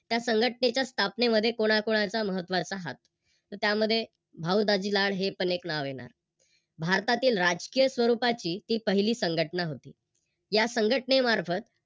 त्या संघटनेच्या स्थापनेमध्ये कोणाकोणाचा महत्त्वाचा हात? तर त्यामध्ये भाऊ दाजी लाड हे पण एक नाव येणार. भारतातील राजकीय स्वरूपाची हि पहिली संघटना होती. या संघटनेमार्फत